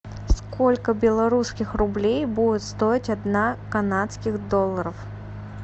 сколько белорусских рублей будет стоить одна канадских долларов